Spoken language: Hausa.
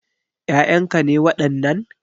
Ƴaƴan ka ne wadannan?